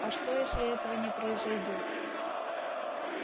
а что если этого не произойдёт